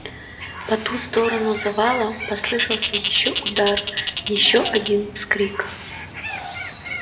по ту сторону завала послышался ещё удар ещё один вскрик